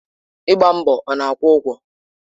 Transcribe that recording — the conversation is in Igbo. Ịgba mbọ ọ na-akwụ ụgwọ?